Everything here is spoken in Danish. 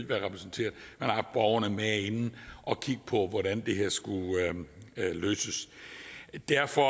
være repræsenteret med inde og kigge på hvordan det her skulle løses så derfor